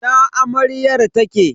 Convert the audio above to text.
Ina amaryar take?